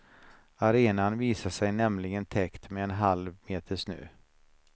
Arenan visade sig nämligen täckt med en halv meter snö.